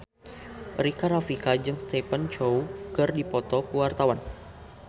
Rika Rafika jeung Stephen Chow keur dipoto ku wartawan